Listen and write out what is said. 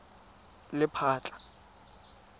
lephatla